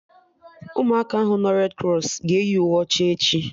Ụmụ aka ahụ nọ redi krọs ga-eyi uwe ọcha echi